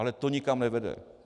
Ale to nikam nevede.